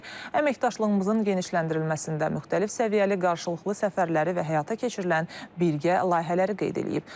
əməkdaşlığımızın genişləndirilməsində müxtəlif səviyyəli qarşılıqlı səfərləri və həyata keçirilən birgə layihələri qeyd edib.